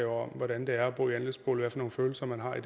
om hvordan det er at bo i andelsbolig og hvad for nogle følelser man har